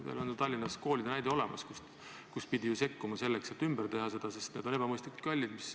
Meil on ju Tallinnas koolide näol näide olemas – pidi ju sekkuma selleks, et neid ümber teha, sest need on ebamõistlikult kallid.